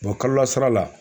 kalo la sara la